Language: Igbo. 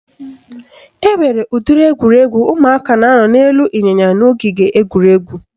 Enwere udiri egwuregwu ụmụaka na-anọ n'elu ịnyịnya n'ogige egwuregwu